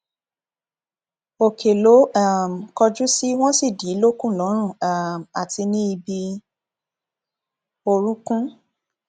òkè ló um kọjú sí wọn sì dì í lókun lọrun um àti ní ibi orúnkún